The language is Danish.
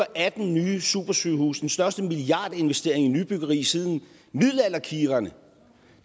atten nye supersygehuse den største milliardinvestering i nybyggeri siden middelalderkirkerne